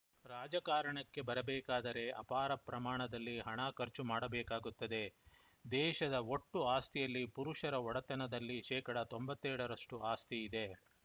ರಾಜಕಾರಣಕ್ಕೆ ಬರಬೇಕಾದರೆ ಅಪಾರ ಪ್ರಮಾಣದಲ್ಲಿ ಹಣ ಖರ್ಚು ಮಾಡಬೇಕಾಗುತ್ತದೆ ದೇಶದ ಒಟ್ಟು ಆಸ್ತಿಯಲ್ಲಿ ಪುರುಷರ ಒಡೆತನದಲ್ಲಿ ಶೇಕಡಾ ತೊಂಬತ್ತೇಳರಷ್ಟುಆಸ್ತಿ ಇದೆ